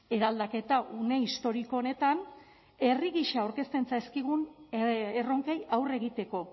eraldaketa une historiko honetan herri gisa aurkezten zaizkigun erronkei aurre egiteko